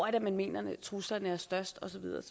er man mener truslerne er størst og så videre og